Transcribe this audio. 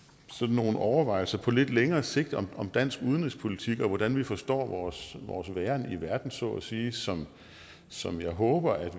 nogle overvejelser på lidt længere sigt om dansk udenrigspolitik og hvordan vi forstår vores væren i verden så at sige som som jeg håber at